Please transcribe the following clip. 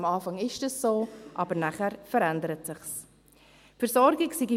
Am Anfang ist das so, aber danach verändert es sich.